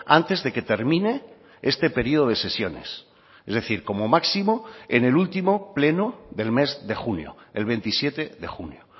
antes de que termine este periodo de sesiones es decir como máximo en el último pleno del mes de junio el veintisiete de junio